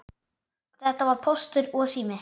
Þetta voru Póstur og Sími.